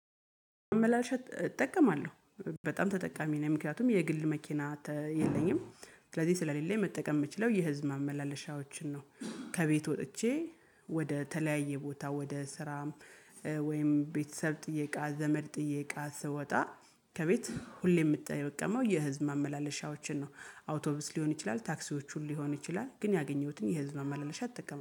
ማመላለሻ እጠቀማለሁ በጣም ተጠቃሚ ነው ምክንያቱም የግል መኪና የለኝም ስለዚህ ስለሌለ የምችለው የህዝብ ማመላለሻዎችን ነው። ከቤት ወጥቼ ወደ ተለያየ ቦታ ወደ ስራም ወይም ቤተሰብ ጥዬቃ እቃ ዘመድ ጥዬቃ ስወጣ ከቤት ሁሌ የምትጠየቀመው የህዝብ ማመላለሻዎችን ነው አውቶቢስ ሊሆን ይችላል ታክሲዎችን ሊሆን ይችላል ግን ያገኘሁትን የህዝብ ማመላለሻ እጠቀማለሁ።